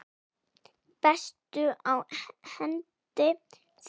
Bestur á hendi þykir mér.